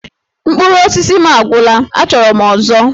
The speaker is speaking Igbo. Mkpụrụ osisi m agwụla! Achọrọ m ọzọ!